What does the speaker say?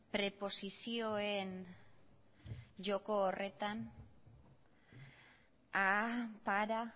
preposizioen joko horretan a para